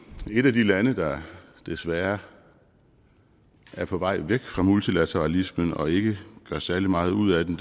et af de lande der desværre er på vej væk fra multilateralismen og ikke gør særlig meget ud af den